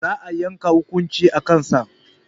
Za a yanke hukunci a kan sa